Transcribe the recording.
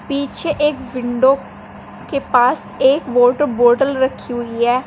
पीछे एक विंडो के पास एक वॉटर बॉटल रखी हुई है।